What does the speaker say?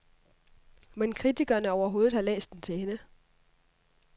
Mon kritikerne overhovedet har læst den til ende?